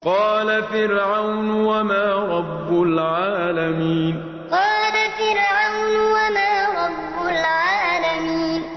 قَالَ فِرْعَوْنُ وَمَا رَبُّ الْعَالَمِينَ قَالَ فِرْعَوْنُ وَمَا رَبُّ الْعَالَمِينَ